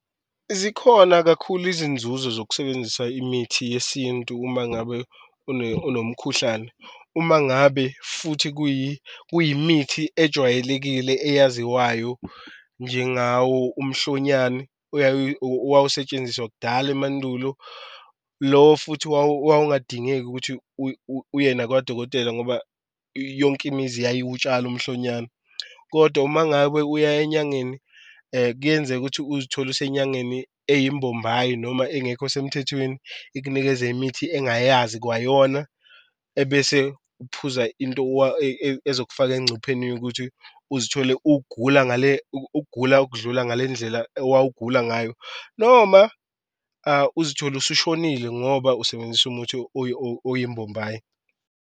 Zikhona kakhulu izinzuzo zokusebenzisa imithi yesintu uma ngabe unomkhuhlane, uma ngabe futhi kuyimithi ejwayelekile eyaziwayo njengawo umhlonyane owawusetshenziswa kudala emandulo lo futhi owawungadingeki ukuthi uye nakwadokotela ngoba yonke imizi yayiwutshala umhlonyane. Kodwa uma ngabe uya enyangeni kuyenzeka ukuthi uzithole usenyangeni eyimbombayi noma engekho semthethweni, ikunikeze imithi engayazi kwayona. Ebese uphuza into ezokufaka engcupheni yokuthi uzithole ugula ngale ukugula okudlula ngale ndlela ewawugula ngayo noma uzithole usushonile ngoba usebenzise umuthi oyimbombayi.